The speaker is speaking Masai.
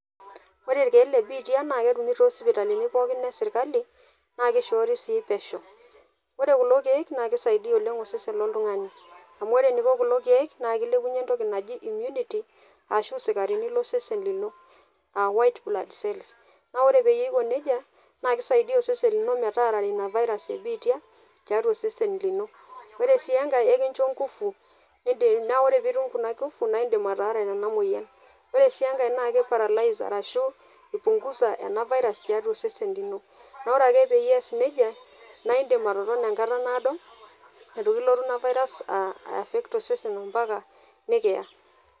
Ore irkieek le biitia naa ketumi too sipitalini poookin e sirkali naa kishoori sii pesho. Ore kulo kiek naa kisaidia oleng osesen loltungani amu ore eniko kulo kiek naa kilepunyie entoki naji immunity ashu isikarini losesen lino aa white blood cells . Naa ore peyie iko nejia naa kisaidia osesen lino metaarare ina virus e biitia tiatua osesen lino. Ore sii enkae ekincho nkufu nindi, naa ore pitum kuna kufu naa indim ataarare ena moyian . Ore sii enkae naa kiparalyze ashu ipungunza ena virus tiatua osesen lino. Naa ore ake peas nejia naa indim atotona enkata naado itu kilotu ina virus affect osesen ompaka nikiya.